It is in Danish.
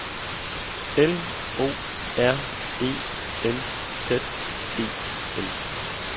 L O R E N Z E N